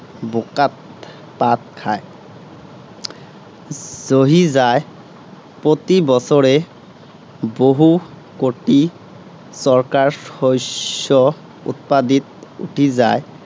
বােকাত পাত খায়, জহি যায়। প্ৰতি বছৰে বহু কোটি টকাৰ শস্য উৎপাদিত উটি যায়